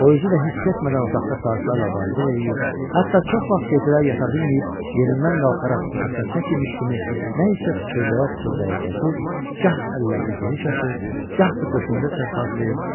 O özü də hiss etmədən otaqda saatlarla var-gəl eləyir, hətta çox vaxt gecələr yata bilməyib, yerindən qalxaraq otaqda tək imiş kimi nə isə pıçıldaya-pıçıldaya gəzir, gah əllərini geniş açır, gah da döşündə çarpazlayır.